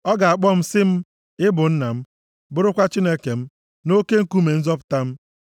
Ọ ga-akpọ m sị m, ‘Ị bụ Nna m, bụrụkwa Chineke m, na oke Nkume nzọpụta m.’